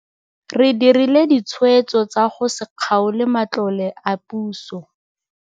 Re dirile ditshwetso tsa go se kgaole matlole a puso.